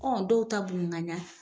dɔw ta ɲafɛ.